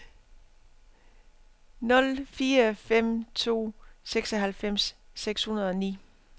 nul fire fem to seksoghalvfems seks hundrede og ni